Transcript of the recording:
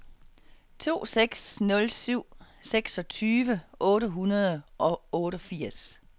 to seks nul syv seksogtyve otte hundrede og otteogfirs